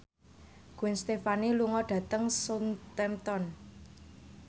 Gwen Stefani lunga dhateng Southampton